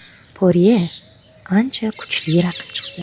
Porye ancha kuchli raqib chiqdi.